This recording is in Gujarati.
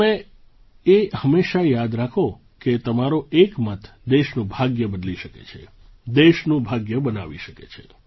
તમે એ હંમેશાં યાદ રાખો કે તમારો એક મત દેશનું ભાગ્ય બદલી શકે છે દેશનું ભાગ્ય બનાવી શકે છે